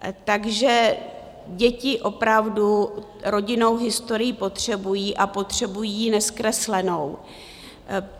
Takže děti opravdu rodinnou historii potřebují a potřebují ji nezkreslenou.